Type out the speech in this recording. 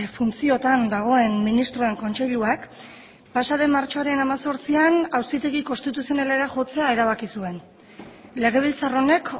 funtziotan dagoen ministroen kontseiluak pasa den martxoaren hemezortzian auzitegi konstituzionalera jotzea erabaki zuen legebiltzar honek